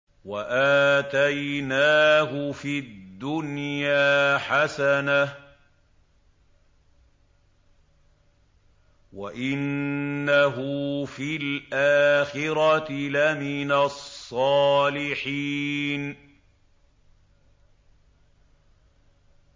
وَآتَيْنَاهُ فِي الدُّنْيَا حَسَنَةً ۖ وَإِنَّهُ فِي الْآخِرَةِ لَمِنَ الصَّالِحِينَ